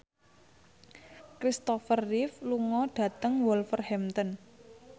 Kristopher Reeve lunga dhateng Wolverhampton